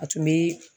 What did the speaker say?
A tun bɛ